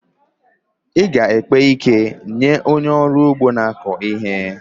Ị ga-ekpe ike nye onye ọrụ ugbo na-akọ ihe.